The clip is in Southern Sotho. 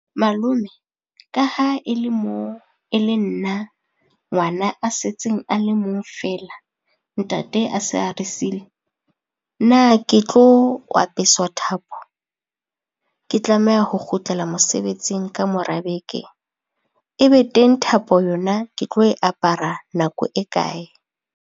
Malome, ka ha e le moo e le nna ngwana a setseng a le mong feela, ntate a se a re sile. Na ke tlo apeswa thapo, ke tlameha ho kgutlela mosebetsing kamora beke? E be teng thapo yona ke tlo e apara nako e kae?